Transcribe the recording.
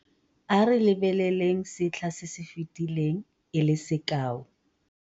A re lebeleleng setlha se se fetileng e le sekao -